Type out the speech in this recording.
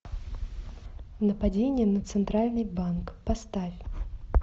нападение на центральный банк поставь